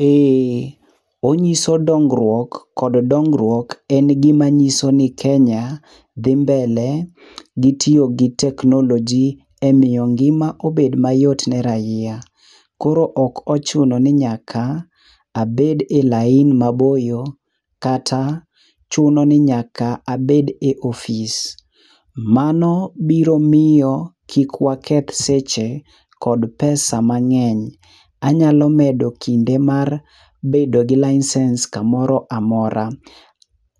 Ee, onyiso dongruok kod dongruok en gima nyiso ni Kenya dhi mbele gi tiyo gi teknoloji e miyo ngima ibed mayot ne rahia. Koro ok ochuno ni nyaka abed e laini maboyo kata chuno ni nyaka abed e ofis. Mano biro miyo kik waketh seche kod pesa mang'eny. Anyalo medo kinde mar bedo gi lainsens kamoro amora,